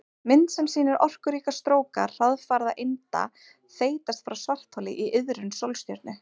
Mynd sem sýnir orkuríka stróka hraðfara einda þeytast frá svartholi í iðrum sólstjörnu.